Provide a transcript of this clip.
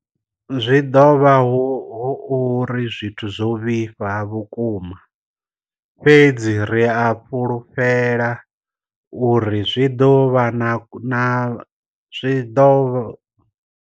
Zwi ḓo vha hu uri zwithu zwo vhifha vhukuma, fhedzi ri a fhulufhela uri zwi ḓo vha na zwi ḓo vha.